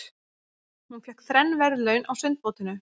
Hún fékk þrenn verðlaun á sundmótinu.